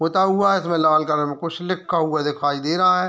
पुता है उसमें लाल कलम कुछ लिखा हुआ दिखाई दे रहा है।